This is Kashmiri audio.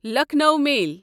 لکھنو میل